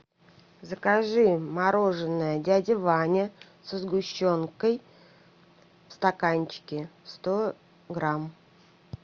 закажи мороженое дядя ваня со сгущенкой в стаканчике сто грамм